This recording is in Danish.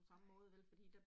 Nej